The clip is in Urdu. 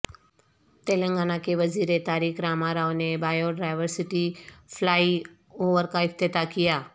تلنگانہ کے وزیر تارک راما راو نے بائیو ڈائیورسٹی فلائی اوور کا افتتاح کیا